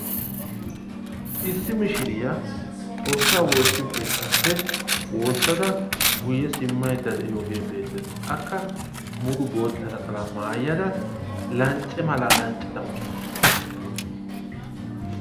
Issi mishiriya Xoossa woossiyo keettappe woossada guyyee simmaydda diyooge beettees. Akka mulu boottaa naxalaa maayada lancce mala lanccada uttawus.